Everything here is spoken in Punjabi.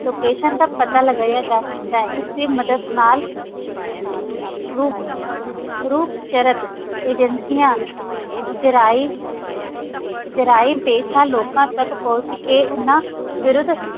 Location ਦਾ ਪਤਾ ਲਗਾਇਆ ਜਾ ਸਕਦਾ ਹੈ ਇਸ ਦੀ ਮਦਦ ਨਾਲ ਗੁਪ~ ਅਹ ਰੂਪਚਰਕ ਏਜੰਸੀਆਂ ਜਰਾਇ~ ਜਰਾਇਮ-ਪੇਸ਼ਾ ਲੋਕਾਂ ਤੱਕ ਪਹੁੰਚ ਕੇ ਉਨ੍ਹਾਂ ਵਿਰੁੱਧ